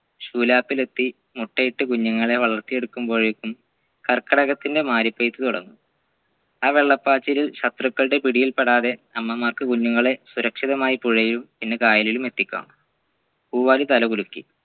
ശൂലാപ്പിൽ എത്തി മുട്ടയിട്ട് കുഞ്ഞുങ്ങളെ വളർത്തിയെടുക്കുമ്പോഴേക്കും കർക്കിടകത്തിൻറെ മാരിപെയ്ത് തുടങ്ങും ആ വെള്ളപായ്ച്ചലിൽ ശത്രുക്കളുടെ പിടിയിൽ പെടാതെ അമ്മമാർക്കു കുഞ്ഞുങ്ങളെ സുരക്ഷിതമായി പുഴയും പിന്നെ കായലിലും എത്തിക്കാം പൂവാലി തലകുലുക്കി